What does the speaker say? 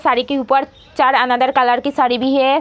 साड़ी के ऊपर चार अनदर कलर की साड़ी भी है।